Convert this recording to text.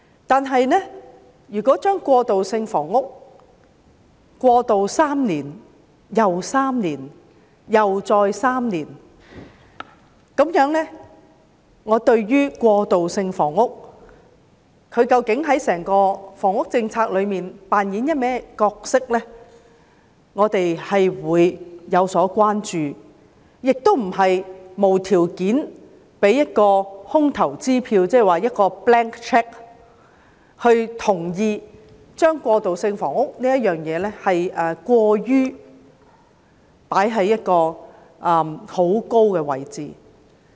但是，如果把過渡性房屋延續3年又3年再3年，那麼對於過渡性房屋究竟在整個房屋政策中扮演甚麼角色，我們便有所關注，亦不能無條件地開出空頭支票，同意將過渡性房屋放在過高的位置。